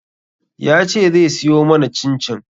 Ya ce zai siyo mana cin-cin